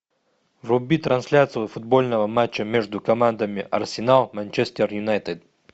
вруби трансляцию футбольного матча между командами арсенал манчестер юнайтед